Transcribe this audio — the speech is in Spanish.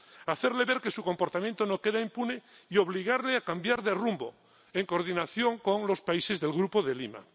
Hacerle ver que su comportamiento no queda impune y obligarle a cambiar de rumbo, en coordinación con los países del Grupo de Lima.